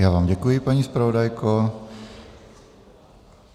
Já vám děkuji, paní zpravodajko.